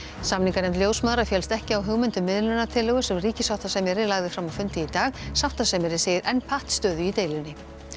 samninganefnd ljósmæðra féllst ekki á hugmynd að miðlunartillögu sem ríkissáttasemjari lagði fram á fundi í dag sáttasemjari segir enn pattstöðu í deilunni